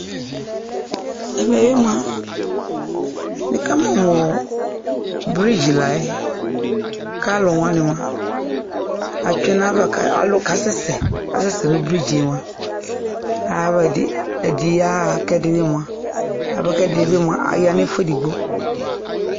Ɛmɛ bɩ mʋa, nuka mʋ mʋ ɔɔ bridge la yɛ k'alʋwanɩ mʋa atsue nayava k'alʋ kasɛsɛ asɛsɛ nʋ bridge yɛ mʋa ayava ɛdɩ yaɣa k'ɛdɩnɩ bɩ mʋa aya nʋ ɛfʋ edigbo